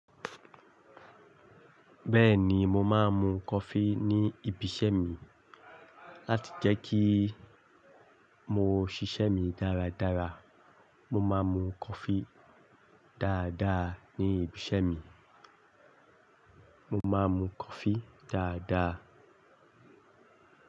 Bẹ́ẹ̀ni, mo máa ń mu coffee ní ibi iṣẹ́ mi láti jẹ́ kí mo ṣiṣẹ́ mi dáradára. Mo máa ń mu coffee dáadáa ní ibi iṣẹ́ mi. Mo máa ń mu coffee dáadáa.